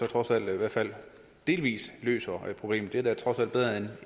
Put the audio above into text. trods alt i hvert fald delvis løser problemet det er da trods alt bedre end